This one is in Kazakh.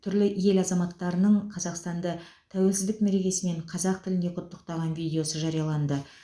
түрлі ел азаматтарының қазақстанды тәуелсіздік мерекесімен қазақ тілінде құттықтаған видеосы жарияланды